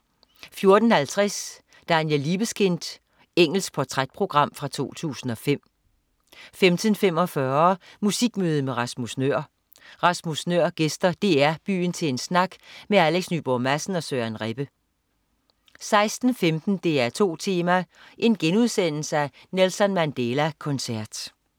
14.50 Daniel Libeskind. Engelsk portrætprogram fra 2005 15.45 Musikmøde med Rasmus Nøhr. Rasmus Nøhr gæster DR Byen til en snak med Alex Nyborg Madsen og Søren Rebbe 16.15 DR2 Tema: Nelson Mandela koncert*